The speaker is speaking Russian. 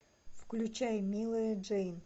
включай милая джейн